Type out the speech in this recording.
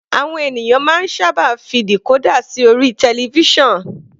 Àwọn ènìyàn máa ń sábà fi decorder sí orí television.